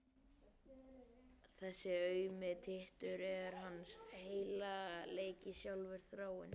Þessi aumi tittur er hans heilagleiki sjálfur: Þráinn!